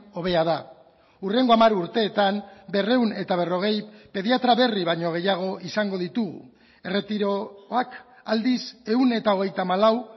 hobea da hurrengo hamar urteetan berrehun eta berrogei pediatra berri baino gehiago izango ditugu erretiroak aldiz ehun eta hogeita hamalau